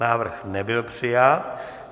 Návrh nebyl přijat.